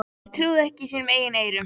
Sem trúði ekki sínum eigin eyrum.